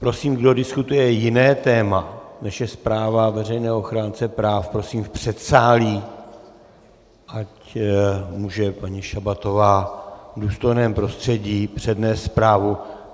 Prosím, kdo diskutuje jiné téma, než je zpráva veřejného ochránce práv, prosím v předsálí, ať může paní Šabatová v důstojném prostředí přednést zprávu.